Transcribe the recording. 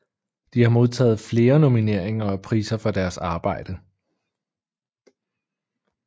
De har modtaget flere nomineringer og priser for deres arbejde